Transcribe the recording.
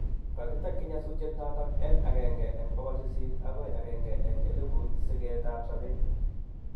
Kagitakyi nyasutiet noton en 1/800 agoi 1/1,000 sigetab sabet